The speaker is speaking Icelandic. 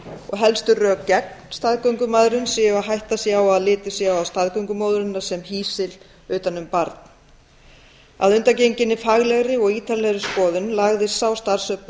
og helstu rök gegn staðgöngumæðrun séu að hætta sé á að litið sé á staðgöngumóðurina sem hýsil utan um barn að undangenginni faglegri og ítarlegri skoðun lagðist sá starfshópur